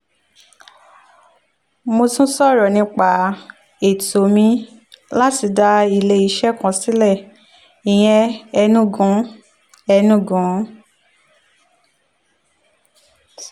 mo tún sọ̀rọ̀ nípa ètò mi láti dá iléeṣẹ́ kan sílẹ̀ ìyẹn enugu enugu strategic food reserve